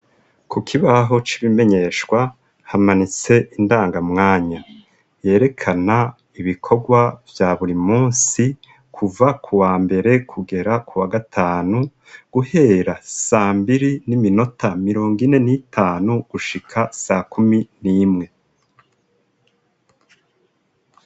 Ku kibaho c'ibimenyeshwa hamanitse indanga mwanya yerekana ibikorwa vya buri musi kuva ku wa mbere kugera ku wa gatanu guhera sambiri n'iminota mirongo ine n'itanu gushika sa kumi n'imwe.